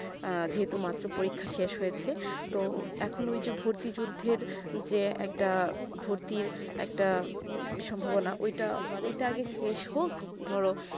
যে তো মাত্র পরীক্ষা শেষ হয়েছে তো এখন ঐই যে ভর্তিজড়দের যে একটা ভর্তির একটা সম্ভাবনা অতটা আগে শেষ হোক ধরো